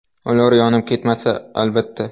Ular yonib ketmasa, albatta.